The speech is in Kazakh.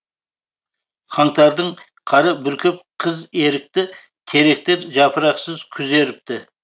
қаңтардың қары бүркеп қыз ерікті теректер жапырақсыз күзеріпті